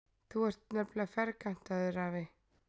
Þú ert nefnilega ferkantaður, afi.